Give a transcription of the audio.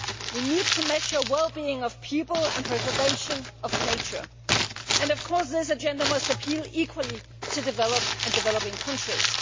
We need to measure well being of people and preservation of nature, and of course this agenda must appeal equally to developed and developing countries.